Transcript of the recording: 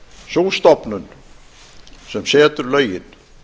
sú stofnun sem setur lögin